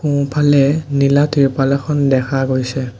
সোঁফালে নীলা তিৰপাল এখন দেখা গৈছে।